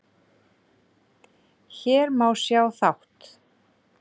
Hér má sjá þátt